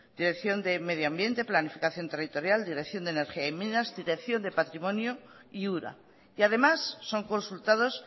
dirección de medio ambiente planificación territorial dirección de energía y minas dirección de patrimonio y ura y además son consultados